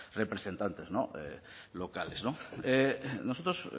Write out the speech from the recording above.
representantes locales nosotros